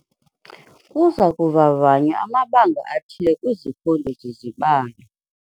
Kuza kuvavanywa amabanga athile kwizifundo zezibalo.